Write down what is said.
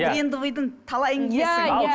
брендовыйдың талайын киесің иә иә